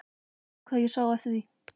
Guð hvað ég sá eftir því!